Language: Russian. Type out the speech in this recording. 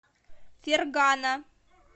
фергана